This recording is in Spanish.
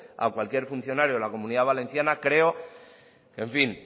a cualquier funcionario de la comunidad valenciana creo en fin